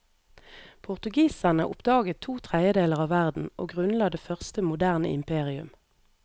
Portugiserne oppdaget to tredjedeler av verden, og grunnla det første moderne imperium.